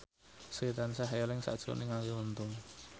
Sri tansah eling sakjroning Arie Untung